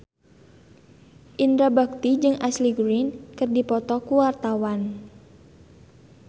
Indra Bekti jeung Ashley Greene keur dipoto ku wartawan